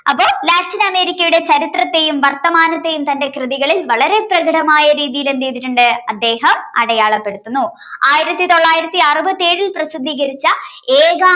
America യുടെ ചരിത്രത്തെയും വർത്തമാനത്തെയും തന്റെ കൃതികളിൽ വളരെ പ്രകടമായ രീതിയിൽ എന്ത് ചെയ്തിട്ടുണ്ട് അദ്ദേഹം അടയാളപ്പെടുത്തുന്നു ആയിരത്തി തൊള്ളായിരത്തി അറുപത്തി ഏഴിൽ പ്രസിദ്ധീകരിച്ച